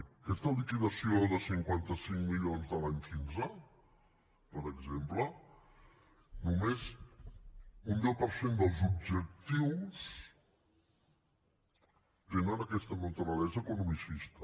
en aquesta liquidació de cinquanta cinc milions de l’any quinze per exemple només un deu per cent dels objectius tenen aquesta naturalesa economicista